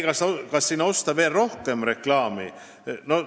Kas osta PBK-sse veel rohkem reklaami?